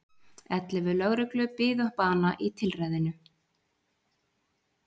Ellefu lögreglu biðu bana í tilræðinu